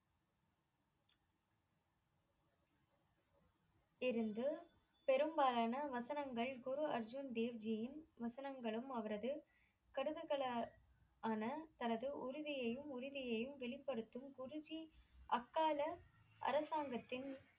இருந்து பெரும்பாலான வசனங்கள் குரு அர்ஜுன் தேவ்ஜியின் வசனங்களும் அவரது கடுககல ஆனா தனது உறுதியையும் உரிமையையும் வெளிப்படுத்தும் குருஜி அக்கால அரசாங்கத்தின்